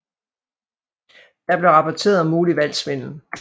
Der blev rapporteret om mulig valgsvindel